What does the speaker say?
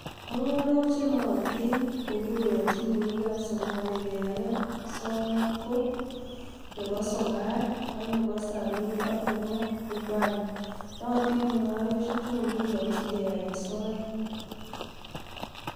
Mung'arok che nootin kogikoyonchi meng'ikab Somali keyaen soet ko nebo Somar, ak nebo Samii, ak nebo Ubali. Nootin mung'arosheju kogikiyonji keyaen soet.